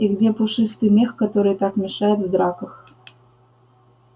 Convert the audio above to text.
и где пушистый мех который так мешает в драках